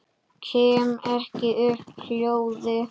Kem ekki upp hljóði.